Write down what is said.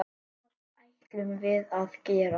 Það ætlum við að gera.